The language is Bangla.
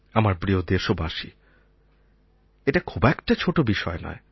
আমার প্রিয় দেশবাসী এটা খুব একটা ছোটো বিষয় নয়